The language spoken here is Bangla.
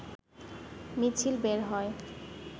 মিছিল বের হয়